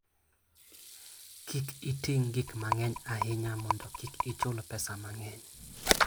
Kik iting' gik mang'eny ahinya mondo kik ichul pesa mang'eny.